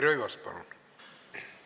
Taavi Rõivas, palun!